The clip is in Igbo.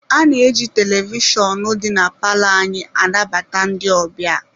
A na-eji televishọnụ dị na palọ anyị anabata ndị ọbịa.